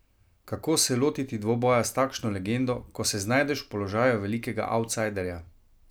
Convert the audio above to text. Kako se lotiti dvoboja s takšno legendo, ko se znajdeš v položaju velikega avtsajderja?